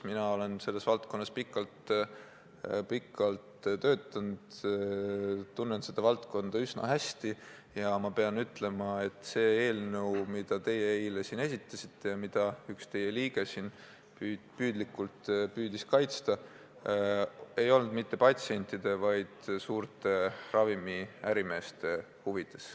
Mina olen selles valdkonnas pikalt töötanud, tunnen seda valdkonda üsna hästi ja ma pean ütlema, et see eelnõu, mida teie eile siin esitasite ja mida üks teie erakonna liige püüdlikult püüdis kaitsta, ei olnud mitte patsientide, vaid suurte ravimiärimeeste huvides.